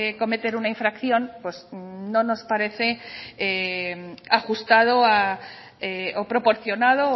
cometer una infracción no nos parece ajustado o proporcionado